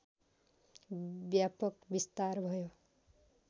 व्यापक विस्तार भयो